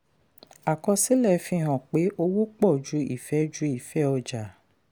àkọsílẹ̀ fi hàn pé owó pọ ju ìfẹ́ ju ìfẹ́ ọjà.